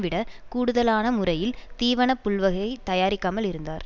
விடக் கூடுதலான முறையில் தீவனப்புல்வகை தயாரிக்காமல் இருந்தார்